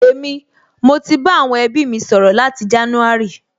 Èmi, mo ti bá àwọn ẹbí mi sọ̀rọ̀ láti jánúárì